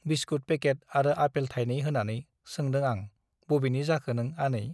Biscuit packet आरो apple थाइनै होनानै सोंदों आं बबेनि जाखो नों आनै ?